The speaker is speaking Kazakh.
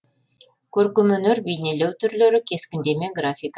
көркемөнер бейнелеу түрлері кескіндеме графика